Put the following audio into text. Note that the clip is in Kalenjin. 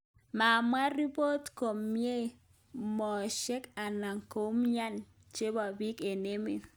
Mamwaa ripot komii meoshrk anan koumyanet chepo piik ap emeet